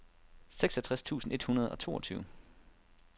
seksogtres tusind et hundrede og toogtyve